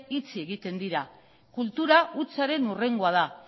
itxi egiten dira kultura hutsaren hurrengoa da